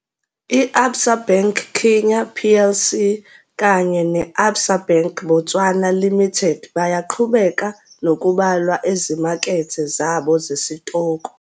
I-Absa Bank Kenya Plc kanye ne- Absa Bank Botswana Limited bayaqhubeka nokubalwa ezimakethe zabo zesitoko.